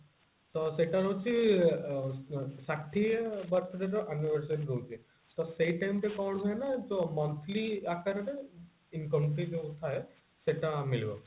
ତ ସେଟା ହଉଛି ଅ ଷାଠିଏ ବର୍ଷରେ ଯୋଉ anniversary ରହୁଛି ତ ସେଇ time ରେ କଣ ହୁଏ ନା ଯୋଉ monthly ଆକାରରେ income ବି ଥାଏ ସେଟା ମିଳିବ